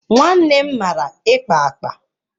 Nwannem mara ikpa akpa.